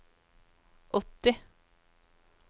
åtti